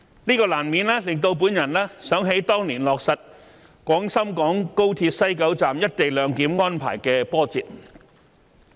這難免使我想起當年落實廣深港高鐵西九龍站"一地兩檢"安排的波折。